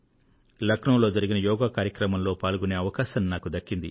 లఖనవూలో జరిగిన యోగా కార్యక్రమంలో పాల్గొనే అవకాశం నాకు దక్కింది